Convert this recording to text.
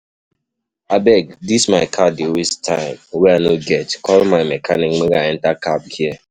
Abeg dis my car dey waste time wey I no get, call my mechanic make I enter cab here.